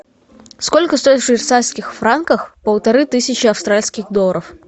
сколько стоит в швейцарских франках полторы тысячи австралийских долларов